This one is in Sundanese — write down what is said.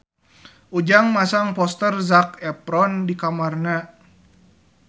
Ujang masang poster Zac Efron di kamarna